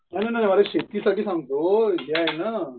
नाही नाही अरे शेती साठी सांगतो हे आहे ना.